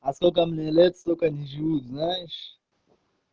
а сколько мне лет столько не живут знаешь